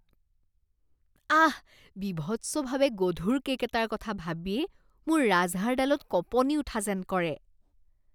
আহ, বীভৎসভাৱে গধুৰ কে'ক এটাৰ কথা ভাবিয়েই মোৰ ৰাজহাড়ডালত কঁপনি উঠা যেন কৰে।